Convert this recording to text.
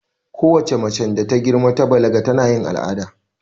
Kowace macen da ta girma ta balaga tana yin al'ada